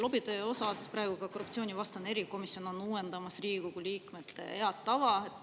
Lobitöö osas praegu ka korruptsioonivastane erikomisjon on uuendamas Riigikogu liikmete head tava.